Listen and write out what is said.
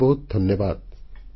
ବହୁତ ବହୁତ ଧନ୍ୟବାଦ